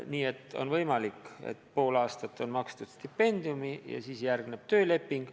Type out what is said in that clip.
Nii et on võimalik, et pool aastat on makstud stipendiumi ja siis järgneb tööleping.